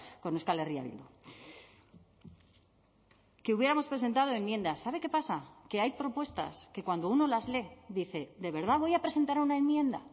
con euskal herria bildu que hubiéramos presentado enmienda sabe qué pasa que hay propuestas que cuando uno las lee dice de verdad voy a presentar una enmienda